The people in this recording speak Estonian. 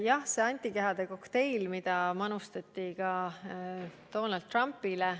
Jah, see on antikehade kokteil, mida manustati ka Donald Trumpile.